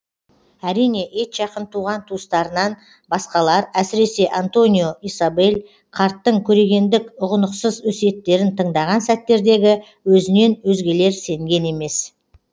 әрине етжақын туған туыстарынан басқалар әсіресе антонио исабель қарттың көрегендік ұғынықсыз өсиеттерін тыңдаған сәттердегі өзінен өзгелер сенген емес